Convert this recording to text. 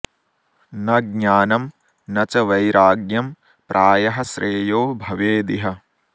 न ज्ञानं न च वैराग्यं प्रायः श्रेयो भवेदिह